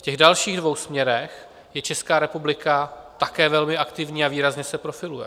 V těch dalších dvou směrech je Česká republika také velmi aktivní a výrazně se profiluje.